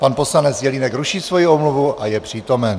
Pan poslanec Jelínek ruší svoji omluvu a je přítomen.